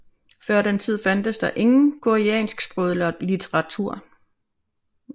Før den tid fandtes der ingen koreansksproget litteratur